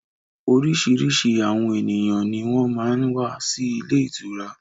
Oríṣiríṣi àwọn ènìyàn ní wọ́n máa ń wà sì ilé ìtura